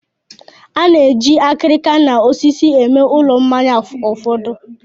A na-eji akịrịka na osisi eme ulọ mmanya ụfọdụ.